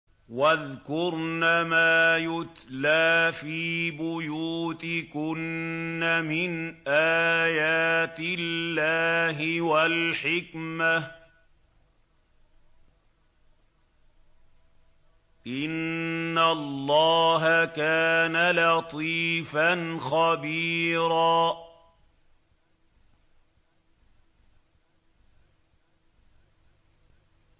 وَاذْكُرْنَ مَا يُتْلَىٰ فِي بُيُوتِكُنَّ مِنْ آيَاتِ اللَّهِ وَالْحِكْمَةِ ۚ إِنَّ اللَّهَ كَانَ لَطِيفًا خَبِيرًا